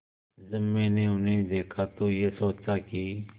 जब मैंने उन्हें देखा तो ये सोचा कि